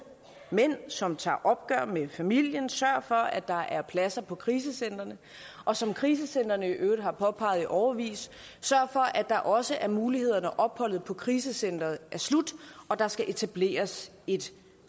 mænd som tager opgør med familien sørg for at der er pladser på krisecentrene og som krisecentrene i øvrigt har påpeget i årevis sørg for at der også er muligheder når opholdet på krisecenteret er slut og der skal etableres et